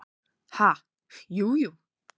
"""Ha, jú, jú"""